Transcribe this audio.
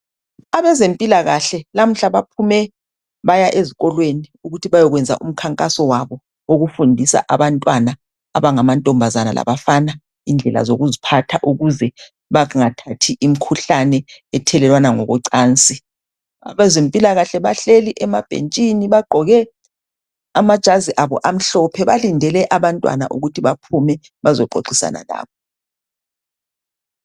abezempilakahle namuhla baphume baya ezikolweni ukuthi beyokwenza umkhankaso wabo wokufundisa abantwana abangamantombazana labafana indlela zokuziphatha ukuze bangathathi imkhuhlane ethelelwana ngokocansi abezempilakahle bagqoke amajazi abo amhlophe balindele abantwana baphume bazoxoxisana labo